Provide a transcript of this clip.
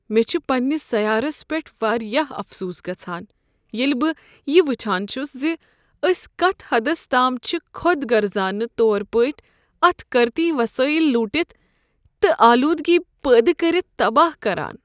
مےٚ چھ پنٛنس سیارس پیٹھ واریاہ افسوس گژھان ییٚلہ بہٕ یہ وٕچھان چھس ز أسۍ کتھ حدس تام چھ خود غرضانہٕ طور پٲٹھۍ اتھ قرتی وسٲیل لوٹتھ تہٕ آلودگی پٲدٕ کٔرتھ تباہ کران۔